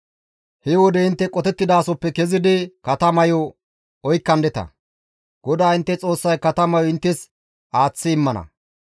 He wode intte qotettidasoppe kezidi katamayo oykkandeta; GODAA intte Xoossay katamayo inttes aaththi immana.